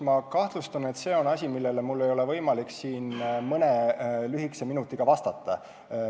Ma kahtlustan, et see on asi, millele mul ei ole võimalik siin nii lühikese aja, mõne minuti jooksul vastata.